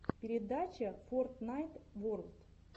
передача фортнайт ворлд